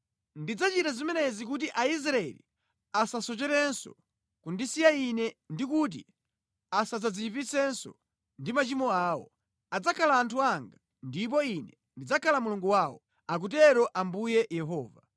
Ndidzachita zimenezi kuti Aisraeli asasocherenso kundisiya Ine ndi kuti asadziyipitsenso ndi machimo awo. Adzakhala anthu anga, ndipo Ine ndidzakhala Mulungu wawo, akutero Ambuye Yehova.’ ”